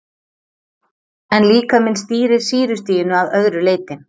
En líkaminn stýrir sýrustiginu að öðru leyti.